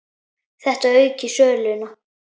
Þetta auki söluna.